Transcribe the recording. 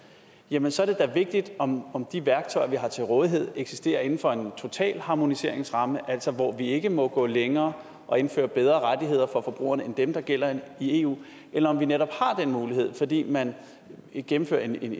jamen så er det da vigtigt om de værktøjer vi har til rådighed eksisterer inden for en totalharmoniseringsramme altså hvor vi ikke må gå længere og indføre bedre rettigheder for forbrugerne end dem der gælder i eu eller om vi netop har den mulighed fordi man gennemfører en